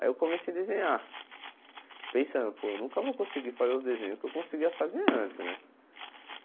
Aí eu comecei a desenhar, pensando, pô, eu nunca vou conseguir fazer os desenhos que eu conseguia fazer antes, né?